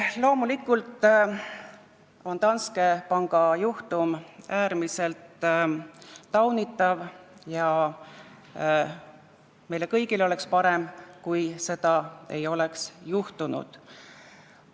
Loomulikult on Danske panga juhtum äärmiselt taunitav ja meile kõigile oleks parem, kui seda ei oleks olnud.